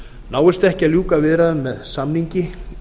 náist ekki að ljúka viðræðum með samningi